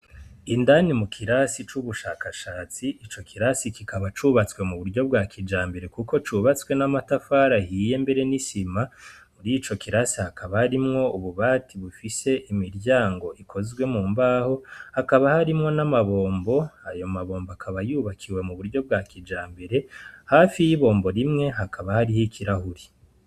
Indani mu kirasi c'ubushakashatsi, ico kirasi kikaba cubatswe mu buryo bwakijambere kuko cubatswe n'amatafari ahiye mbere n'isima y'ico kirasi hakaba harimwo ububati bufise imiryango ikozwe mu mbaho hakaba harimwo n'amabombo ayo mabombo akaba yubakiwe mu buryo bwakijambere, hafi y'ibombo rimwe hakaba hariyo ikarahuri.